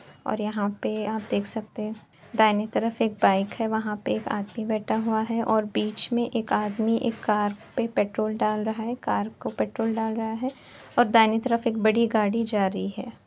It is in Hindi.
और यहाॅं पे आप देख सकते हैं दाहिनी तरफ एक बाइक है वहाॅं पे एक आदमी बैठा हुआ है और बीच में एक आदमी एक कार पे पेट्रोल डाल रहा है। कार को पेट्रोल डाल रहा है और दाहिने तरफ एक बड़ी गाड़ी जा रही है।